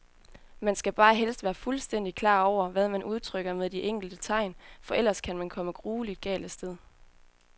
Man skal bare helst være fuldstændigt klar over, hvad man udtrykker med de enkelte tegn, for ellers kan man komme grueligt galt af sted.